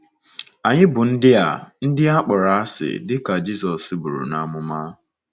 Anyị bụ ndị a ndị a kpọrọ asị, dị ka Jizọs buru n’amụma.